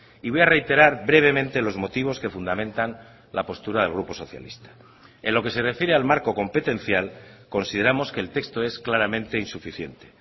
y voy a reiterar brevemente los motivos que fundamentan la postura del grupo socialista en lo que se refiere al marco competencial consideramos que el texto es claramente insuficiente